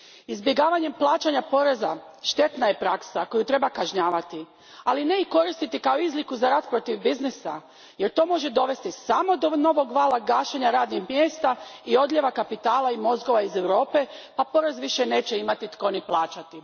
Izbjegavanje plaćanja poreza štetna je praksa koju treba kažnjavati, ali ne i koristiti kao izliku za rat protiv biznisa, jer to može dovesti samo do novog vala gašenja radnih mjesta i odljeva kapitala i mozgova iz Europe pa porez više neće imati tko ni plaćati.